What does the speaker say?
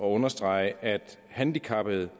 understrege at handicappede